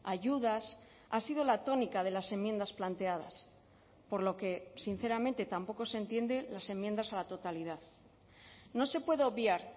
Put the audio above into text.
ayudas ha sido la tónica de las enmiendas planteadas por lo que sinceramente tampoco se entiende las enmiendas a la totalidad no se puede obviar